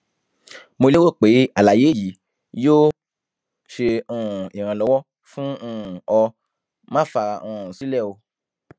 mo lérò pé àlàyé yìí yóò ṣe um ìrànlọwọ fún um ọ má fara um sílẹ o